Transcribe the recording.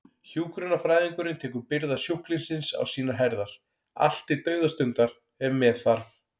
Hjúkrunarfræðingurinn tekur byrðar sjúklingsins á sínar herðar, allt til dauðastundar ef með þarf.